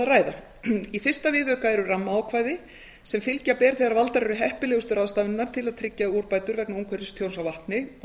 ræða í fyrsta viðauka eru rammaákvæði sem fylgja ber þegar valdar eru heppilegustu ráðstafanirnar til að tryggja úrbætur vegna umhverfistjóns á vatni og